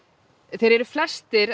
þeir eru flestir